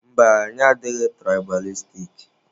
Mba, anyị adịghị tụraịbalistik.